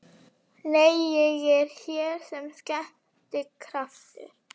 Nei, ég er hér sem skemmtikraftur